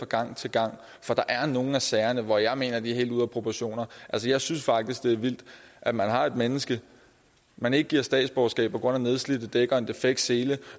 gang til gang for der er nogle af sagerne hvor jeg mener at det er helt ude af proportioner altså jeg synes faktisk det er vildt at man har et menneske man ikke giver statsborgerskab på grund af nedslidte dæk og en defekt sele